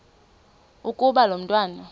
ukuba lo mntwana